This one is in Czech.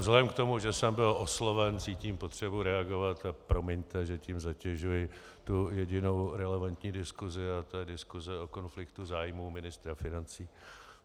Vzhledem k tomu, že jsem byl osloven, cítím potřebu reagovat a promiňte, že tím zatěžuji tu jedinou relevantní diskusi, a to je diskuse o konfliktu zájmů ministra financí.